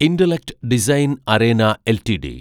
intellect design arena LTD